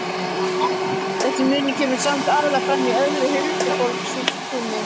Þessi munur kemur samt aðallega fram í öðru en huldufólkstrúnni.